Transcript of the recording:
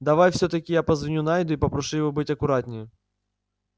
давай всё-таки я позвоню найду и попрошу его быть аккуратнее